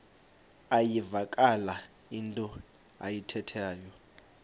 iyavakala into ayithethayo